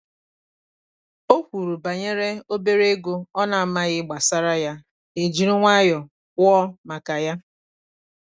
o kwuru banyere obere ego ọ na-amaghị gbasara ya ha ejiri nwayọọ kwụọ maka ya